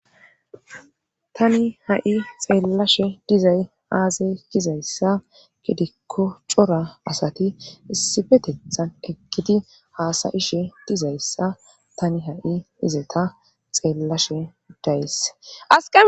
tani ha7i xeellashe dizay aazae gizayssa gidikko cora asati issipetethan ekkiti haasayishe dizayssa tani ha7i izeta xeellashe days